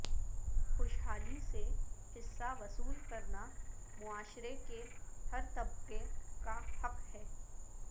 خوشحالی سے حصہ وصول کرنا معاشرے کے ہر طبقے کا حق ہے